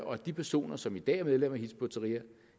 og at de personer som i dag er medlem af hizb ut tahrir